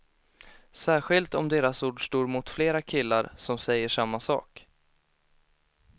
Särskilt om deras ord står mot flera killar, som säger samma sak.